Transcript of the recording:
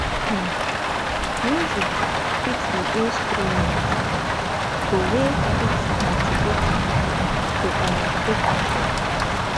um music fit be instrunment to wey fit motivate pipo to um take action